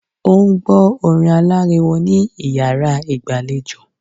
Ó n gbó orin aláriwo ní iyàrá ìgbàlejò